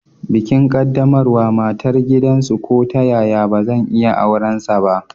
Bikin qaddamarwa matar gidansu ko ta yaya bazan iya aurensa ba.